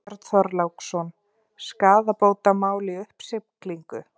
Björn Þorláksson: Skaðabótamál í uppsiglingu?